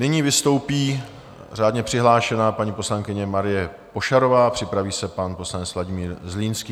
Nyní vystoupí řádně přihlášená paní poslankyně Marie Pošarová, připraví se pan poslanec Vladimír Zlínský.